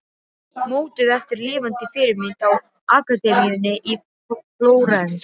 Mótuð eftir lifandi fyrirmynd á Akademíunni í Flórens.